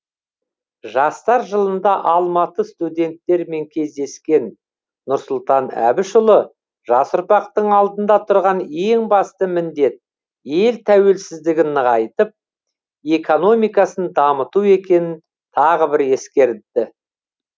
жастар жылында алматы студенттерімен кездескен нұрсұлтан әбішұлы жас ұрпақтың алдында тұрған ең басты міндет ел тәуелсіздігін нығайтып экономикасын дамыту екенін тағы бір ескерді